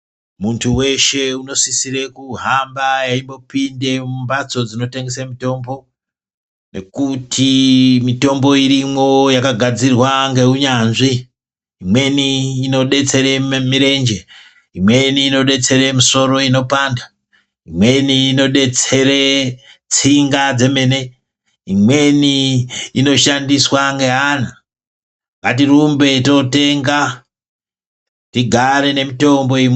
Muntu weshe unosisirwe kuhamba eimbopinde mumbatso dzinotengese mitombo nekuti mitombo irimwo yakagadzirwa ngeunyanzvi, imweni inodetsere mirenje, imweni inodetsere misoro inopanda, imweni inodetsere tsinga dzemene, imweni inoshandiswa ngeana ngatirumbe totenga tigare nemitombo iyi.